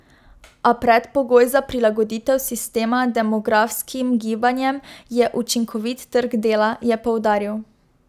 A predpogoj za prilagoditev sistema demografskim gibanjem je učinkovit trg dela, je poudaril.